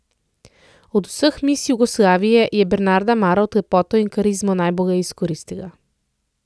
Od vseh miss Jugoslavije je Bernarda Marovt lepoto in karizmo najbolj izkoristila.